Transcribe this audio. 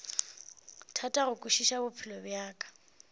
thata go kwešiša bophelo bja